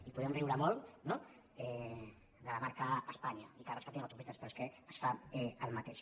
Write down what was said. i podem riure molt no de la marca españa i que rescatin autopistes però és que es fa el mateix